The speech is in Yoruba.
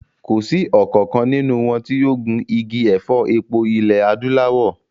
Kò sí ọ̀kankan nínú wọn tí ó gun igi ẹ̀fọ́ epo ilẹ̀ Adúláwọ̀